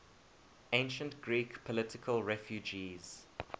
ancient greek political refugees